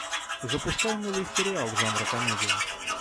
запускай новый сериал жанра комедия